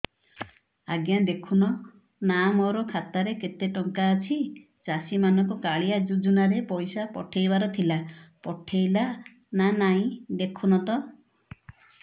ଆଜ୍ଞା ଦେଖୁନ ନା ମୋର ଖାତାରେ କେତେ ଟଙ୍କା ଅଛି ଚାଷୀ ମାନଙ୍କୁ କାଳିଆ ଯୁଜୁନା ରେ ପଇସା ପଠେଇବାର ଥିଲା ପଠେଇଲା ନା ନାଇଁ ଦେଖୁନ ତ